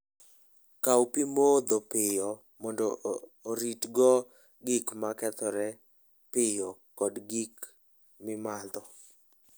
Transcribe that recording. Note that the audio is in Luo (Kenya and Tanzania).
Kaw pi modho piyo mondo oritgo gik ma kethore piyo kod gik mimadho.